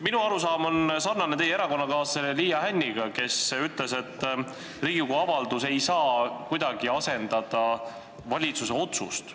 Minu arusaam sarnaneb teie erakonnakaaslase Liia Hänni omaga, kes ütles, et Riigikogu avaldus ei saa kuidagi asendada valitsuse otsust.